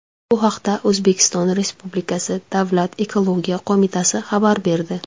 Bu haqda O‘zbekiston Respublikasi Davlat ekologiya qo‘mitasi xabar berdi.